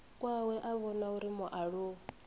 kwawe a vhona uri mualuwa